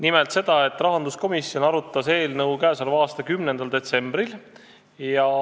Nimelt seda, et rahanduskomisjon arutas eelnõu k.a 10. detsembril.